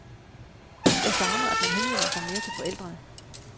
Jeg savner, at man henvender sig mere til forældrene.